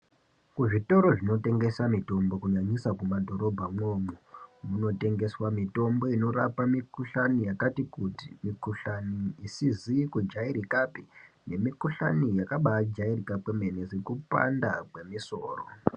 Kuzvitoro zvinotengeswa mitombo yanesa mumadhorobha umo munotengeswa mitombo unorapa mikuhlani yakati kuti mikuhlani isizi kujairikapi nemikuhlani yakabajairika kwemene sekupanda kwesoro.